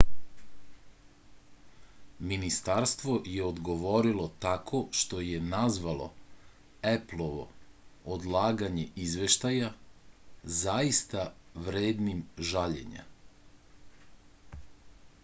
ministarstvo je odgovorilo tako što je nazvalo eplovo odlaganje izveštaja zaista vrednim žaljenja